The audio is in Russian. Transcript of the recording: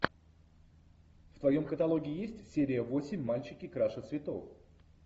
в твоем каталоге есть серия восемь мальчики краше цветов